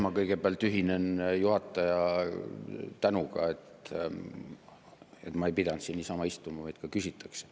Ma kõigepealt ühinen juhataja tänuga, et ma ei pidanud siin niisama istuma, vaid ka küsitakse.